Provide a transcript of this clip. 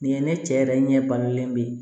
Nin ye ne cɛ yɛrɛ ɲɛ balilen bɛ yen